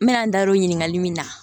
N bɛna n da don ɲininkali min na